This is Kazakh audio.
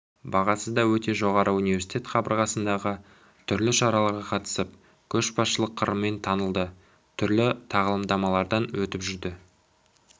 бағасы да өте жоғары университет қабырғасындағы түрлі шараларға қатысып көшбасшылық қырымен танылды түрлі тағылымдамалардан өтіп жүрді